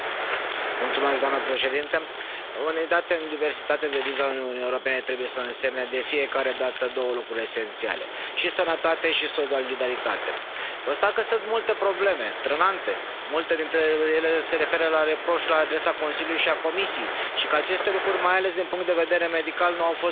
Doamnă președintă, unitate în diversitate, deviza Uniunii Europene trebuie să însemne de fiecare dată două lucruri esențiale și sănătate și solidaritate. Constat că sunt multe probleme trenante, multe dintre ele se referă la reproșuri la adresa Consiliului și a Comisiei, și că aceste lucruri, mai ales din punct de vedere medical, nu au fost rezolvate.